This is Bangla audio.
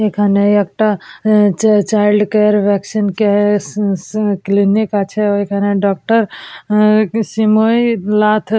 এখানে একটা চাইল্ড কেয়ার ভ্যাকসিন কেয়ার স স ক্লিনিক আছে ওইখানে ডাক্তার শ্ৰীময়ী নাথ।